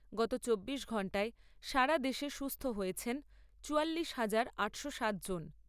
গত চব্বিশ ঘন্টায় সারা দেশে সুস্থ হয়েছেন চুয়াল্লিশ হাজার আটশো সাত জন।